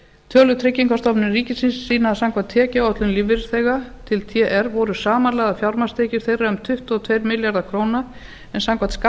tölur tryggingastofnunar ríkisins sýna að samkvæmt tekjuáætlun lífeyrisþega til tr voru samanlagðar fjármagnstekjur þeirra um tuttugu og tveir milljarðar króna en samkvæmt